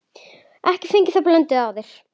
Ekki fengið þá blöndu áður.